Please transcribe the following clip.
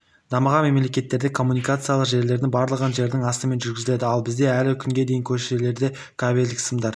дамыған мемлекеттерде коммуникациялық желілердің барлығын жердің астымен жүргізеді ал бізде әлі күнге дейін көшелерде кабельдік сымдар